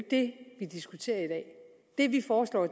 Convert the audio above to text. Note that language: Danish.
det vi diskuterer i dag det vi foreslår